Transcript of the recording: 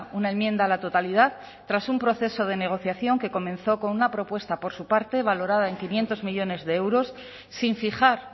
una enmienda a la totalidad tras un proceso de negociación que comenzó con una propuesta por su parte valorada en quinientos millónes de euros sin fijar